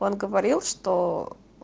он говорил что